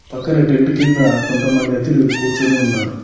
పక్కనే టెంటు కింద కొంతమంది అతిలు కూర్చొని ఉన్నారు.